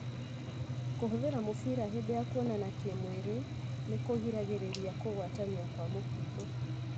Kũhũthĩra mũbira hĩndĩ ya kũonana kĩmwĩrĩ nĩkũgiragĩrĩria kũgwatania kwa mũkingo.